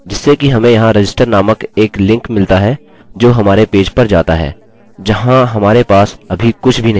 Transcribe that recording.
जिससे कि हमें यहाँ register नामक एक लिंक मिलता है जो हमारे पेज पर जाता है जहाँ हमारे पास अभी कुछ भी नही है